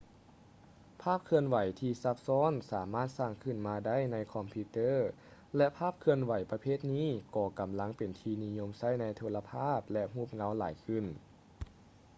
ພາບເຄື່ອນໄຫວທີ່ຊັບຊ້ອນສາມາດສ້າງຂຶ້ນມາໄດ້ໃນຄອມພິວເຕີ ແລະ ພາບເຄື່ອນໄຫວປະເພດນີ້ກໍກຳລັງເປັນທີ່ນິຍົມໃຊ້ໃນໂທລະພາບ ແລະ ຮູບເງົາຫຼາຍຂຶ້ນ